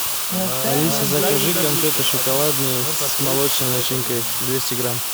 алиса закажи конфеты шоколадные с молочной начинкой двести грамм